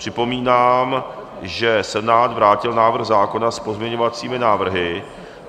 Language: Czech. Připomínám, že Senát vrátil návrh zákona s pozměňovacími návrhy.